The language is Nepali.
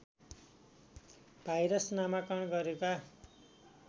भाइरस नामाकरण गरेका